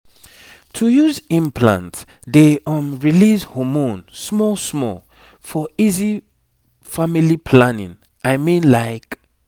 to use implant dey um release hormone small small for easy family planning i mean like